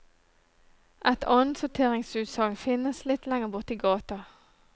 Et annensorteringsutsalg finnes litt lenger borte i gata.